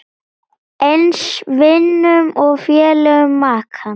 Eins vinum og félögum makans.